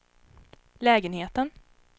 lägenheten